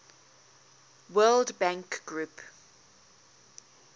world bank group